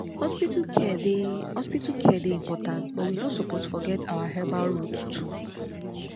hospital care dey hospital care dey important but we no suppose forget our herbal roots too